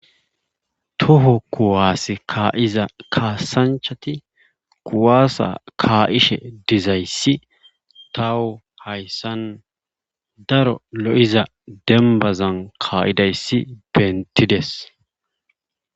Toho kuwase kaa'iza kaasanchati kuwaasa ka'ishe dizayssi tawu hayssan daro lo'iza dembazan ka'izayssi bentidees.